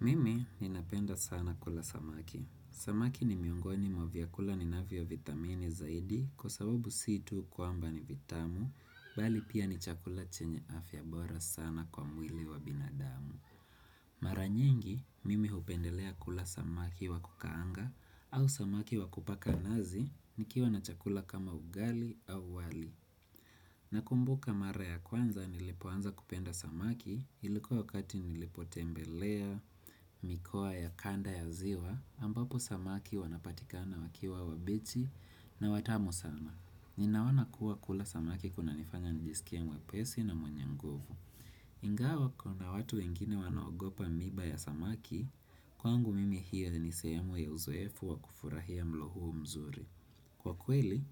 Mimi ninapenda sana kula samaki. Samaki ni miongoni mwa vyakula ninavyo vithamini zaidi kwa sababu si tu kwamba ni vitamu, bali pia ni chakula chenye afya bora sana kwa mwili wa binadamu. Mara nyingi, mimi hupendelea kula samaki wakukaanga au samaki wakupaka nazi, nikiwa na chakula kama ugali au wali. Nakumbuka mara ya kwanza nilipoanza kupenda samaki, ilikuwa wakati nilipotembelea mikoa ya kanda ya ziwa ambapo samaki wanapatikana wakiwa wabichi na watamu sana. Ninaona kuwa kula samaki kunanifanya nijisikie mwepesi na mwenye nguvu. Ingawa kuna watu wengine wanaogopa miiba ya samaki kwangu mimi hiyo ni sehemu ya uzoefu wa kufurahia mlo huo mzuri. Kwa kweli,